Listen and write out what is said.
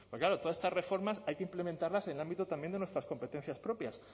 porque claro todas estas reformas hay que implementarlas en el ámbito también de nuestras competencias propias